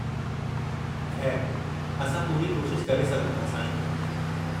खै़रु, असां पूरी कोशिश करे सघूं था, साईं।